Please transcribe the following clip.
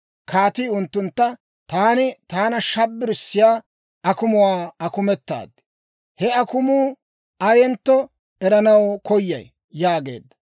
Kaatii unttuntta, «Taani taana shabbirissiyaa akumuwaa akumetaad; he akumuu ayentto eranaw koyay» yaageedda.